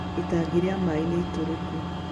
Itangi rĩa maaĩ nĩ itũrĩku.